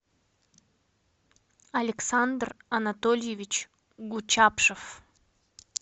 александр анатольевич гучапшев